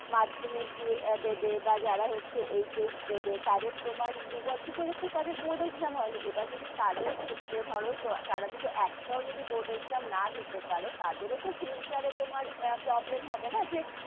মাধ্যমিক দেবে, বা যারা হচ্ছে HS দেবে, তোমার দু বছর ধরে তো তাদের board exam হয় নি, এবার যদি তাদের ক্ষেত্রে ধরো তারা যদি একটাও যদি board exam না দিতে পারে, তাদের ও তো future এ তোমার problem হবে না যে,